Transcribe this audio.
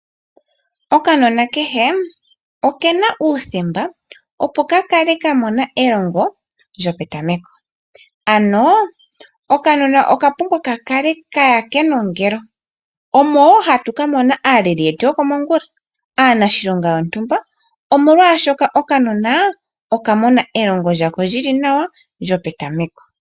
Okanona kehe okena uuthemba opo kakale kamona elongo lyo petameko ano okanona okapumbwa kakale kaya kenongelo omo wo hatu kamona aaleli yetu yokomongula aanashilonga yontumba omolwashoka okanona okamona elongo lyako lyili nawa lyo petameko.